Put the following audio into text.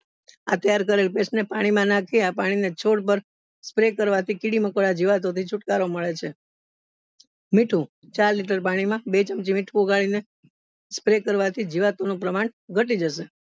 આ તૈયાર કરેલ pest માં પાણી નાખી આ પાણી ને છોડ પર spray કરવા થી કીડી મકોડા જીવાતો થી છુટકારો નળે છે મીઠું ચાર લીટર પાણી માં બે ચમચી મીઠું ઓગળી ને spray કરવા થી જીવાતો નું પ્રમાણ ઘટી જશે.